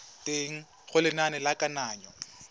teng ga lenane la kananyo